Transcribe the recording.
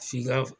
F'i ka